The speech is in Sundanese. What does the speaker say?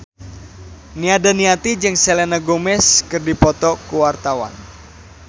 Nia Daniati jeung Selena Gomez keur dipoto ku wartawan